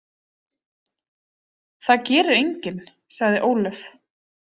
Það gerir enginn, sagði Ólöf.